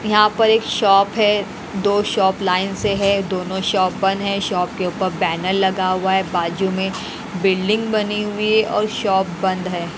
यहाँ पर एक शॉप है दो शॉप लाइन से हैं दोनों शॉप बंद हैं शॉप के ऊपर बैनर लगा हुआ है बाजू में बिल्डिंग बनी हुई है और शॉप बंद है।